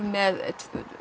með